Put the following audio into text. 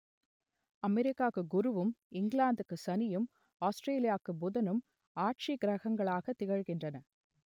அமெரிக்காவுக்கு குருவும் இங்கிலாந்துக்கு சனியும் ஆஸ்ட்ரேலியாவுக்கு புதனும் ஆட்சி கிரகங்களாகத் திகழ்கின்றன